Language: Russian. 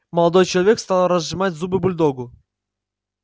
молодой человек стал разжимать зубы бульдогу